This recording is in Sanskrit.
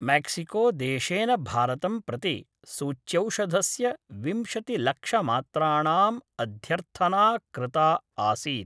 मैक्सिको देशेन भारतं प्रति सूच्यौषधस्य विंशतिलक्षमात्राणाम् अध्यर्थना कृता आसीत्।